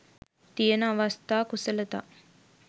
තියෙන අවස්ථා කුසලතා